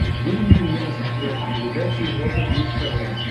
выведи мне на смотрешке передачу европа плюс тв